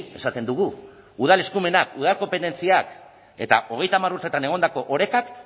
esaten dugu udal eskumenak udal konpetentziak eta hogeita hamar urteetan egondako orekak